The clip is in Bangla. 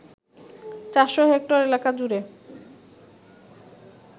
৪০০ হেক্টর এলাকাজুড়ে